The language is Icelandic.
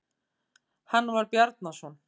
Hann var Bjarnason.